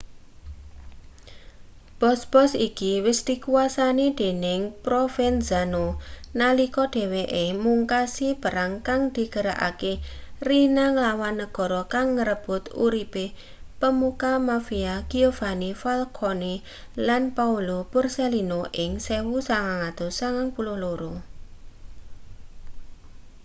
bos-bos iki wis dikuwasani dening provenzano nalika dheweke mungkasi perang kang digerakake riina nglawan negara kang ngrebut uripe pemuka mafia giovanni falcone lan paolo borsellino ing 1992